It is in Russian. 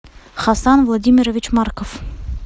хасан владимирович марков